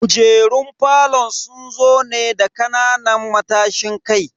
Kujerun falon sun zo ne da kananan matashin kai.